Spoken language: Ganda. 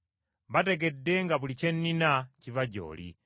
Bategedde nga buli kye nnina kiva gy’oli,